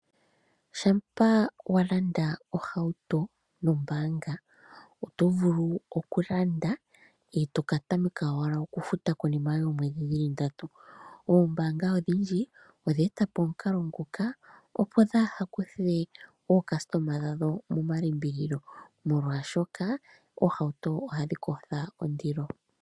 Shampa walanda ohauto nombaanga oto vulu okulanda e to katameka owala okufuta konima yoomwedhi ndatu. Oombanga odhindji odha eta po omukalo nguka opo dhi kuthe ookasitoma dhono momalimbililo molwaashoka oohauto ohadhi kotha ondilo.